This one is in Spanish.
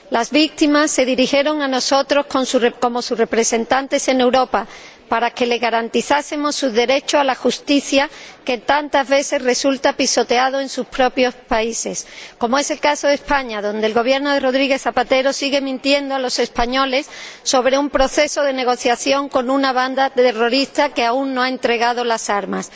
Las víctimas se dirigieron a nosotros, como sus representantes en Europa, para que les garanticemos su derecho a la justicia, que tantas veces resulta pisoteado en sus propios países, como es el caso de España, donde el Gobierno de Rodríguez Zapatero sigue mintiendo a los españoles sobre un proceso de negociación con una banda terrorista que aún no ha entregado las armas.